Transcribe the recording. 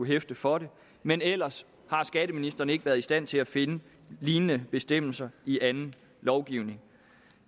hæfte for det men ellers har skatteministeren ikke været i stand til at finde lignende bestemmelser i anden lovgivning